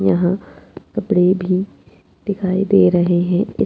यहाँ कपड़े भी दिखाई दे रहे है।